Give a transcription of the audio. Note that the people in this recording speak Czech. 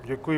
Děkuji.